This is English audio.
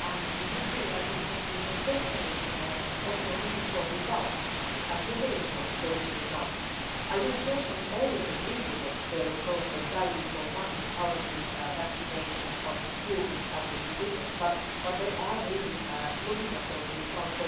The UK, I think, has been exemplary also in looking for results and measuring those results. I do not personally always agree with their approach of value for money how many vaccinations, how many school books have been delivered but they are really looking at those results.